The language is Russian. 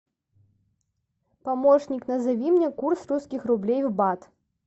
помощник назови мне курс русских рублей в бат